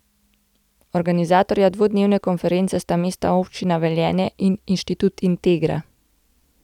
Organizatorja dvodnevne konference sta Mestna občina Velenje in Inštitut Integra.